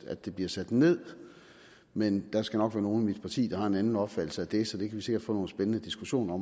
at de bliver sat ned men der skal nok være nogle i mit parti der har en anden opfattelse af det så det kan vi sikkert få nogle spændende diskussioner